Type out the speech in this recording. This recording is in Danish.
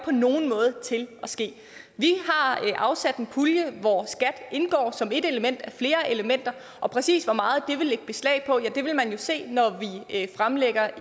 på nogen måde til at ske vi har afsat en pulje hvor skat indgår som ét element af flere elementer og præcis hvor meget det vil lægge beslag på vil man jo se når vi fremlægger